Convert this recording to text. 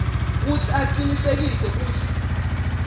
kutsi acinisekise kutsi